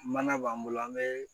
Mana b'an bolo an bɛ